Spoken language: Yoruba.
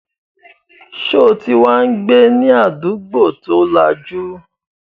Sọ ti wá ń gbé ní àdúgbò tí ó lajú?